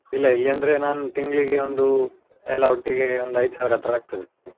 ಇಲ್ಲಾ ಇಲ್ಲಿ ಅಂದ್ರೆ ನಾನು ತಿಂಗ್ಳಿಗೆ ಒಂದು, ಎಲ್ಲಾ ಒಟ್ಟಿಗೆ ಒಂದು ಐದು ಸಾವಿರ ಹತ್ರ ಆಗ್ತದೆ.